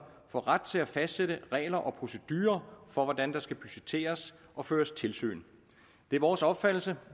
får ret til at fastsætte regler og procedurer for hvordan der skal budgetteres og føres tilsyn det er vores opfattelse